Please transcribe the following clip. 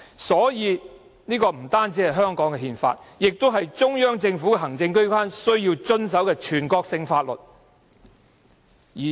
所以，《基本法》不單是香港的憲法，更是中央政府行政機關亦須遵守的全國性法律。